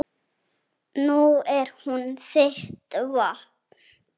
Nú er hún þitt vopn.